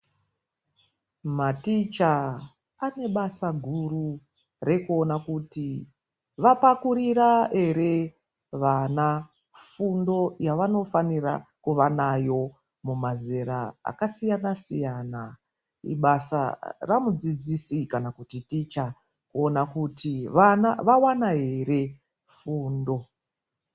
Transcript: Maticha ane basa guru rekuona kuti vapakurira ere vana fundo ,yavanofanirwa kuva nayo mumazera akasiyana -siyana .Ibasa ramudzidzisi kana kuti ticha kuona kuti vana vawana ere fundo.